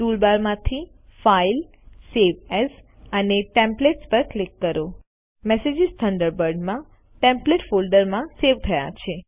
toolbar માંથી file save as અને templates પર ક્લિક કરો મેસેજીસ થન્ડરબર્ડમાં ટેમ્પ્લેટ ફોલ્ડર માં સેવ થયા છે